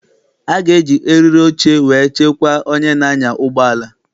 A ga-eji eriri oche wee chekwaa onye na-anya ụgbọala.